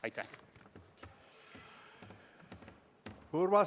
Aitäh!